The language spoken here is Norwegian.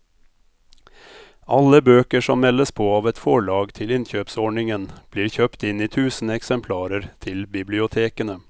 Alle bøker som meldes på av et forlag til innkjøpsordningen blir kjøpt inn i tusen eksemplarer til bibliotekene.